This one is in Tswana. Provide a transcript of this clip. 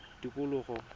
tikologo